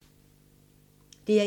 DR1